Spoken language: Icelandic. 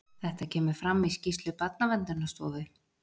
Þetta kemur fram í skýrslu Barnaverndarstofu